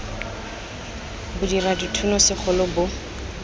bo dira dithuno segolo bo